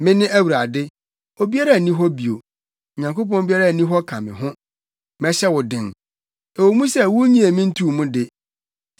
Mene Awurade, obiara nni hɔ bio; Onyankopɔn biara nni hɔ ka me ho. Mɛhyɛ wo den, ɛwɔ mu sɛ wunnyee me ntoo mu de,